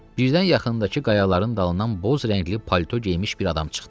Birdən yaxındakı qayaların dalından boz rəngli palto geymiş bir adam çıxdı.